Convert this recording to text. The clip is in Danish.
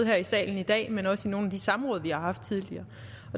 her i salen i dag men også i nogle af de samråd vi har haft tidligere